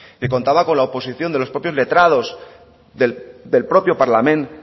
que contaba con la oposición de los propios letrados del propio parlament